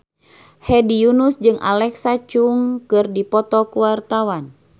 Hedi Yunus jeung Alexa Chung keur dipoto ku wartawan